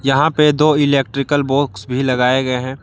यहां पे दो इलेक्ट्रिकल बॉक्स भी लगाए गए हैं।